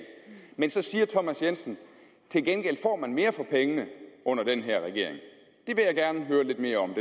men så siger herre thomas jensen til gengæld får man mere for pengene under den her regering det vil jeg gerne høre lidt mere om